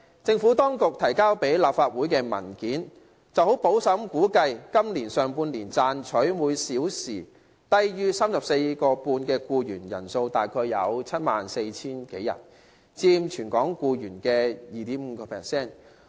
政府當局提交立法會的文件，十分保守地估計今年上半年賺取每小時工資低於 34.5 元的僱員人數約為 74,000 多人，佔全港僱員的 2.5%。